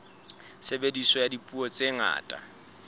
tshebediso ya dipuo tse ngata